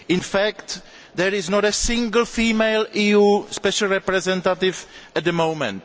In fact, there is not a single female EU special representative at the moment.